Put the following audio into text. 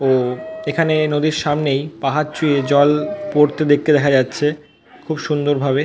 ও এখানে নদীর সামনেই পাহাড় চুঁয়ে জল পড়তে দেখতে দেখা যাচ্ছে খুব সুন্দর ভাবে।